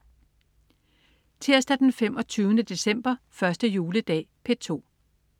Tirsdag den 25. december. 1. juledag - P2: